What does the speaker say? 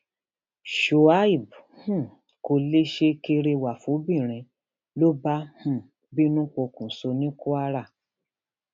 shuaib um kó lè ṣe kẹrẹwà fọbìnrin ló bá um bínú pokùnṣọ ní kwara